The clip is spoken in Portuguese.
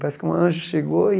Parece que um anjo chegou e...